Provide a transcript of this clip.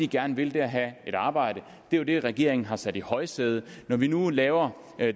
gerne vil er at have et arbejde og det er det regeringen har sat i højsædet når vi nu laver